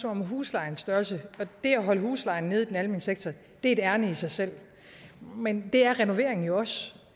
om huslejens størrelse det at holde huslejen nede i den almene sektor er et ærinde i sig selv men det er renovering jo også